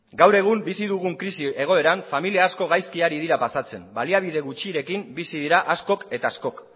gaur egun bizi dugun krisi egoeran familia asko gaizki ari dira pasatzen baliabide gutxirekin bizi dira askok eta askok